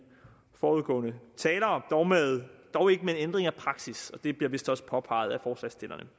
foregående talere dog ikke med en ændring af praksis og det bliver vist også påpeget af forslagsstillerne